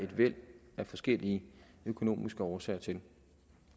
et væld af forskellige økonomiske årsager til